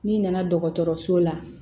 N'i nana dɔgɔtɔrɔso la